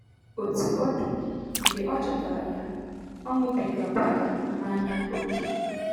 Otú ọ dị, mgbe ọ chọtara ya, ọṅụbigakwara mmanya ókè.